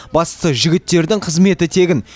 бастысы жігіттердің қызметі тегін